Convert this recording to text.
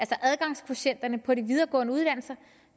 adgangskvotienten på de videregående uddannelser